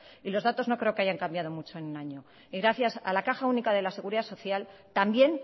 y los datos no creo que hayan cambiado mucho en un año y gracias a la caja única de la seguridad social también